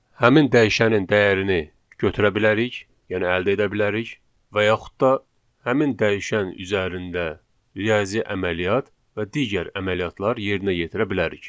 Həmin dəyişənin dəyərini götürə bilərik, yəni əldə edə bilərik və yaxud da həmin dəyişən üzərində riyazi əməliyyat və digər əməliyyatlar yerinə yetirə bilərik.